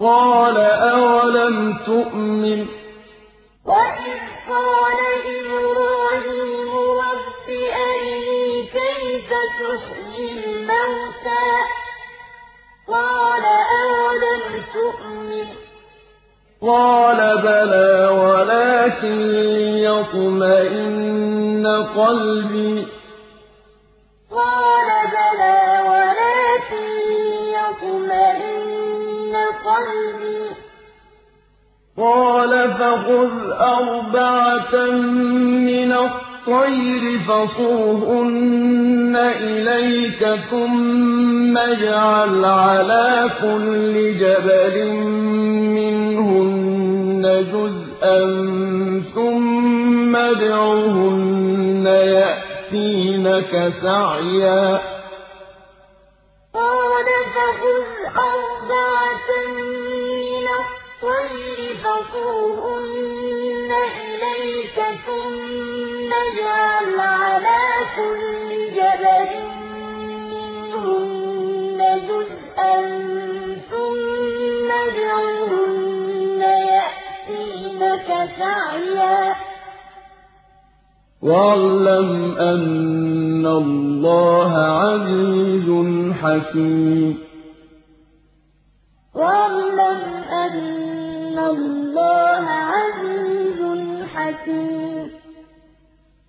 قَالَ أَوَلَمْ تُؤْمِن ۖ قَالَ بَلَىٰ وَلَٰكِن لِّيَطْمَئِنَّ قَلْبِي ۖ قَالَ فَخُذْ أَرْبَعَةً مِّنَ الطَّيْرِ فَصُرْهُنَّ إِلَيْكَ ثُمَّ اجْعَلْ عَلَىٰ كُلِّ جَبَلٍ مِّنْهُنَّ جُزْءًا ثُمَّ ادْعُهُنَّ يَأْتِينَكَ سَعْيًا ۚ وَاعْلَمْ أَنَّ اللَّهَ عَزِيزٌ حَكِيمٌ وَإِذْ قَالَ إِبْرَاهِيمُ رَبِّ أَرِنِي كَيْفَ تُحْيِي الْمَوْتَىٰ ۖ قَالَ أَوَلَمْ تُؤْمِن ۖ قَالَ بَلَىٰ وَلَٰكِن لِّيَطْمَئِنَّ قَلْبِي ۖ قَالَ فَخُذْ أَرْبَعَةً مِّنَ الطَّيْرِ فَصُرْهُنَّ إِلَيْكَ ثُمَّ اجْعَلْ عَلَىٰ كُلِّ جَبَلٍ مِّنْهُنَّ جُزْءًا ثُمَّ ادْعُهُنَّ يَأْتِينَكَ سَعْيًا ۚ وَاعْلَمْ أَنَّ اللَّهَ عَزِيزٌ حَكِيمٌ